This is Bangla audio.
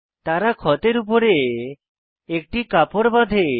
তারা ক্ষতের উপরে একটি কাপড় বাঁধে